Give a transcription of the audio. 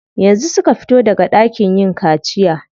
Yanzu suka fito daga ɗakin yin kaciya.